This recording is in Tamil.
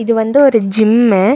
இது வந்து ஒரு ஜிம்ம .